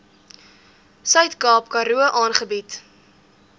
suidkaap karoo aangebied